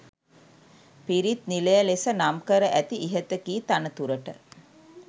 පිරිත් නිලය ලෙස නම් කර ඇති ඉහත කී තනතුරට